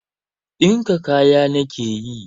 Dinka kaya na nake yi.